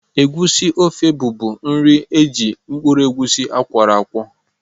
Egusi ofe bụbu nri eji mkpụrụ egusi akworo akwo.